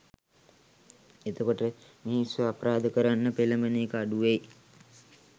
එතකොට මිනිස්සු අපරාධ කරන්න පෙලබෙන එක අඩු වෙයි